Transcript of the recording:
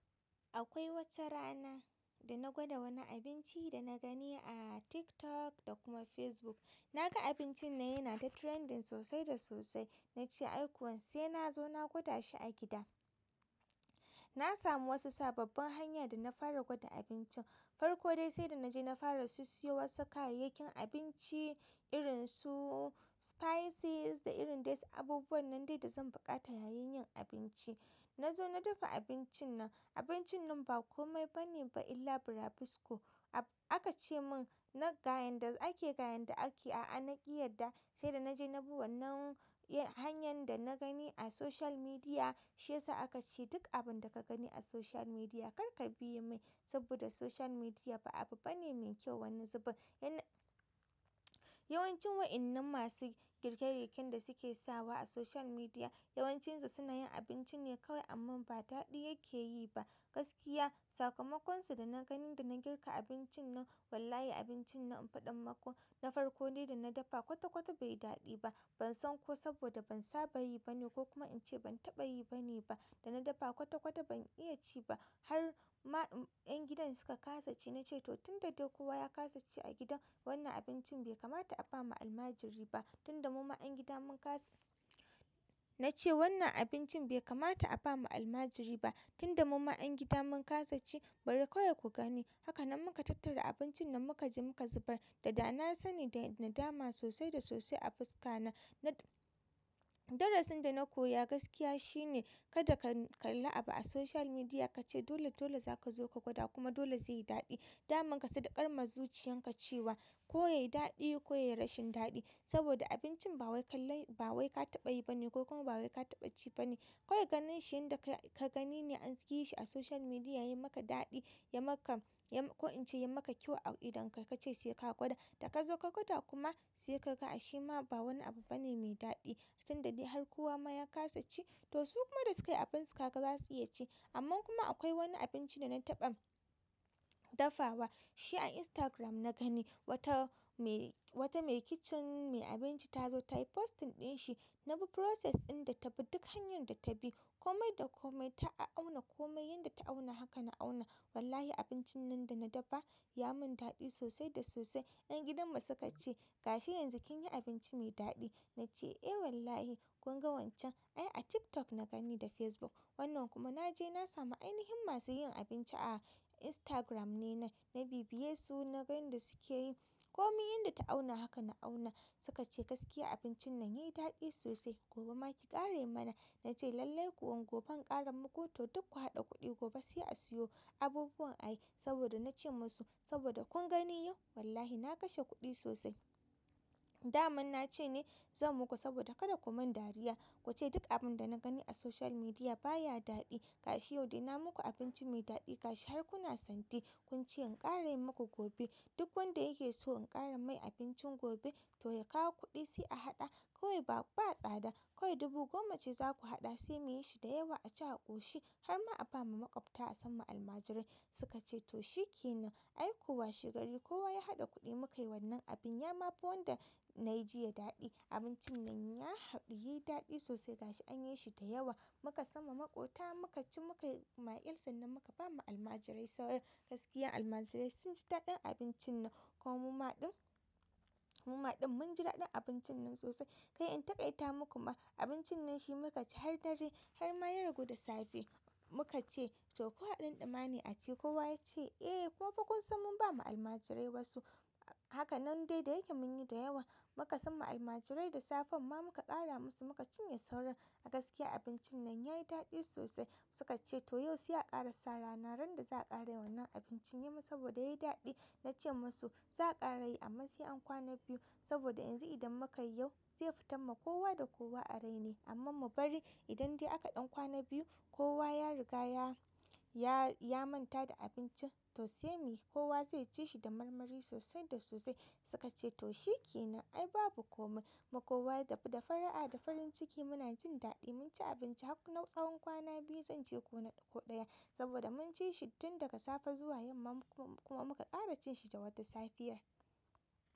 Akwai wata rana da na gwada wani abincin da nagani a TikTok da kuma Facebook na ga abincin nan yana ta trending sosai da sosai. Na ce "Ai kuwa sai na zo na gwada shi a gida." Na samu wasu sababbin hanya da na fara gwada abincin. Farkode sai da na je na fara si-siyo wasu kayayyakin abinci irin su "spices" da irin dai su abubuwan nan dai da zan buƙata yayin yin abinci. Na zo na dafa abincin nan. Abincin nan ba kome bane ba illa burabisko. Ab-- aka ce mun na ga yanda ake ga yanda ake, a'a na ƙi yarda. Saida naje nabi wannan hanyan dana gani a social media shi yasa aka ce duk abinda kaga ni a social media karka biye mai saboda social media ba abu bane mai kyau wani zobun yawancin wa'innan masu girke-girken da suke sawa a social media, yawancinsa suna yin abinci ne kawai amma ba daɗi yake yi ba. Gaskiya, sakamakonsu da na gani da na girka abincin nan, wallahi abincin nan in faɗa maku, na farkode da na dafa kwata-kwata bai daɗi ba. Ban san ko saboda ban saba yi bane ko kuma in ce ban taɓa yi bane ba. Da na dafa kwata-kwata ban iya ci ba. Har ma-- 'yan gidan suka ƙasa ci. Na ce "To tun da dai kowa ya ƙasa ci a gidan, wannan abincin bai kamata a ba ma almajiri ba." Tun da muma 'yan gida mun ƙasa-- na ce "Wannan abincin bai kamata a ba ma almajiri ba, tun da muma 'yan gida mun ƙasa ci bari kawai ku gani." Haka nan muka tattara abincin nan muka je muka zubar. Da dana sani da, da nadama sosai da sosai a fuska na. Na-- darasin da na koya gaskiya shine kada ka kalla abu a social media, ka ce dole dole za ka zo ka gwada kuma dole zai yi daɗi. Dama kasadaƙar ma zuciyan ka cewa ko yayi daɗi ko yayi rashin daɗi saboda abincin ba wai ka lallai, ba wai ka taɓa yi bane ko kuma ba wai ka taɓa ci bane. Kawai ganin shi yanda ka-ka gani ne an yi shi a social media yay maka daɗi, ya maka, ya ma-- ko in ce ya maka kyau a idonka ka ce sai ka gwada. Da kazo ka gwada kuma sai kaga ashema ba wani abu bane mai daɗi. Tun da dai har kowa ma ya ƙasa ci to su kuma da sukayi abin su ka ga za su iya ci. Amma kuma akwai wani abinci da na taɓa dafawa, shi a Instagram na gani. Wata mai, wata mai kicin, mai abinci ta zo ta yi posting ɗin shi. Na bi "process" ɗin da ta bi, duk hanyar da ta bi, kome da kome ta au auna kome. Yanda ta auna haka na auna. Wallahi abincin nan da na dafa ya mun daɗi sosai da sosai. 'Yan gidan mu suka ce "Gashi yanzu kin yi abinci mai daɗi." Na ce "Eh wallahi." Kun ga wancan ai a TikTok na gani da Facebook. Wannan kuma na je na samu ainihin masu yin abinci a Instagram ne nan. Na bibiye su, na ga yan da suke yi. Komi yanda ta auna haka na auna. Suka ce "Gaskiya abincin nan yayi daɗi sosai. Gobe ma ki ƙara yi mana." Na ce "Lallai kuwa gobe in ƙara muku to duk ku haɗa kuɗi gobe sai a siyo abubuwan a yi saboda na ce masu saboda kun gani yau wallahi na kashe kuɗi sosai." Daman na ce ne zan muku saboda kada ku mun dariya. Ku ce duk abin da na gani a social media baya daɗi. Gashi yau dai na muku abinci mai daɗi gashi har kuna santi. Kun ce in ƙara yi maku gobe duk wanda yake so in ƙara mai abincin gobe to ya kawo kuɗi sai a haɗa. Kawai ba, ba tsada. Kawai dubu goma ce za ku haɗa sai muyi shi da yawa a ci a ƙoshi har ma a ba ma maƙwabta a samma almajirai. Suka ce "To shikenan. Ai ko washe gari kowa ya haɗa kuɗi mu kai wannan abin." Yama fi wanda na yi ji ya daɗi. Abincin nan ya haɗu, yi daɗi sosai gashi an yi shi da yawa. Muka samma maƙota muka ci muka yi makil sannan muka ba ma almajirai sauran. Gaskiya abincin nan yayi daɗi sosai. Inta kai ta muku ma abincin nan shi muka ci har dare har ma ya ragu da safe muka ce to ko a dun duma ne a ci kowa yace eh. Kuma fa kun san mun ba wa almajirai wasu haka nan dai da yake munyi da yawa muka samma almajirai da safen ma muka ƙara musu. Muka cinye sauran a gaskiya abincin nan yayi daɗi sosai suka ce to yau sai akara sa rana randa za'a ƙara yin wannan abincin saboda yay daɗi nace musu za'a ƙara yi amma sai an kwana biyu saboda. Yanzu idan muka yi yau, zai fitar ma kowa da kowa a rai ne. Amma mu bari idan dai aka ɗan kwana biyu kowa ya riga ya, ya, ya manta da abincin to sai muyi kowa zai ci shi da marmari sosai da sosai." Suka ce "To shikenan. Ai babu kome mu kowa da, da fara'a da farin ciki muna jin daɗi mun ci abinci har na tsawon kwana biyu zan ce ko na ɗaya saboda mun ci shi tun daga safe zuwa yamma kuma muka ƙara cin shi da wata safiyar."